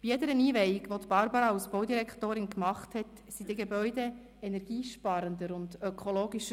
Bei jeder Einweihung, die Barbara Egger als Baudirektorin vornahm, wurden die Gebäude energiesparender und ökologischer.